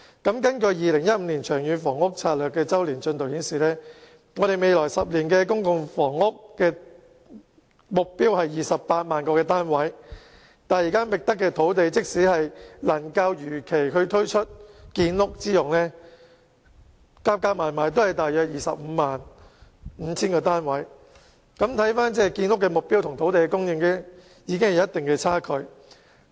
根據《長遠房屋策略》2015年周年進度報告，未來10年的公營房屋供應目標是28萬個單位，但即使現已覓得的土地能如期推出作建屋之用，亦只能興建約 255,000 個公營房屋單位，可見建屋目標與土地供應存在一定的距離。